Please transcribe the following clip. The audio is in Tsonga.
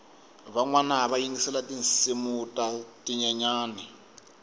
vanwana va yingisela tinsimu ta tinyenyani